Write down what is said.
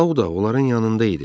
Sau da onların yanında idi.